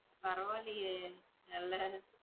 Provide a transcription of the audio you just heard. பரவாயில்லையே இல்ல.